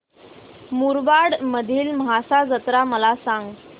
मुरबाड मधील म्हसा जत्रा मला सांग